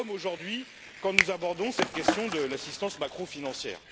nous le sommes aujourd'hui quand nous abordons cette question de l'assistance macro financière.